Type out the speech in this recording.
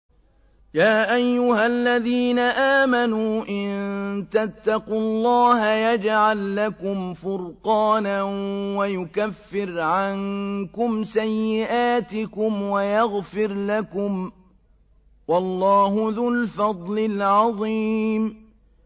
يَا أَيُّهَا الَّذِينَ آمَنُوا إِن تَتَّقُوا اللَّهَ يَجْعَل لَّكُمْ فُرْقَانًا وَيُكَفِّرْ عَنكُمْ سَيِّئَاتِكُمْ وَيَغْفِرْ لَكُمْ ۗ وَاللَّهُ ذُو الْفَضْلِ الْعَظِيمِ